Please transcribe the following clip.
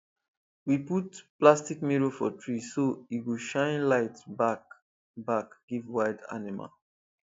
we put plastic mirror for tree so e go shine light back back give wild animal